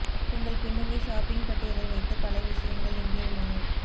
உங்கள் பின்னணி ஷாப்பிங் பட்டியலை வைத்து பல விஷயங்கள் இங்கே உள்ளன